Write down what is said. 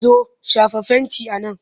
Zo! shafa fenti a nan!